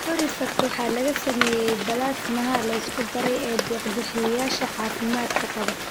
Corifact waxaa laga sameeyay balaasmaha la isku daray ee deeq-bixiyeyaasha caafimaadka qaba.